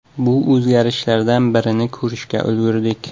Bu o‘zgarishlardan birini ko‘rishga ulgurdik.